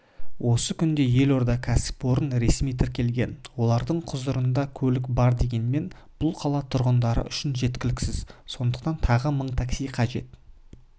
осы күнде елордада кәсіпорын ресми тіркелген олардың құзырында көлік бар дегенмен бұл қала тұрғындары үшін жеткіліксіз сондықтан тағы мың такси қажет